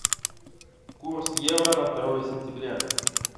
курс евро на второе сентября